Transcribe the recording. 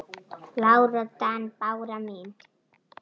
Lára Dan. Bára mín.